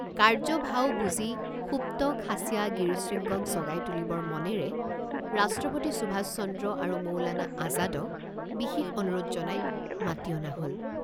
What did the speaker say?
কাৰ্য ভাও বুজি সুপ্ত খাচীয়া গিৰিশৃঙ্গক জগাই তুলিবৰ মনেৰে ৰাষ্ট্ৰপতি সুভাষচন্দ্ৰ আৰু মৌলানা আজাদক বিশেষ অনুৰোধ জনাই মাতি অনা হল।